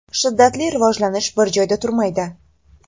Shiddatli rivojlanish bir joyda turmaydi.